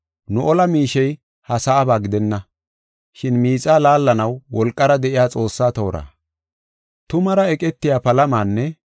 Nu ola miishey ha sa7aba gidenna. Shin miixa laallanaw wolqara de7iya Xoossa toora. Tumaara eqetiya palamanne,